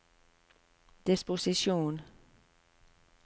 disposisjon